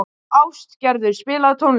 Ástgerður, spilaðu tónlist.